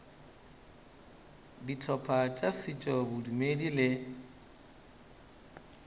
dihlopha tša setšo bodumedi le